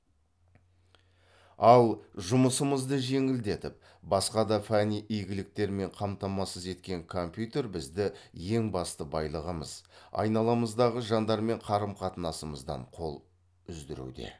ал жұмысымызды жеңілдетіп басқа да фәни игіліктермен қамтамасыз еткен компьютер бізді ең басты байлығымыз айналамыздағы жандармен қарым қатынасымыздан қол үздіруде